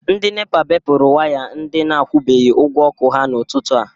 Ndị NEPA bepuru waya ndị na-akwụbeghi ụgwọ ọkụ ha n’ụtụtụ a.